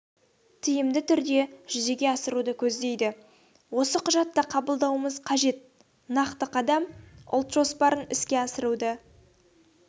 тиімді түрде жүзеге асыруды көздейді осы құжатты қабылдауымыз қажет нақты қадам ұлт жоспарын іске асыруды